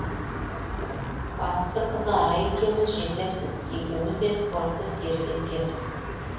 батыстың қызы арай екеуміз жерлеспіз екеуіміз де спортты серік еткенбіз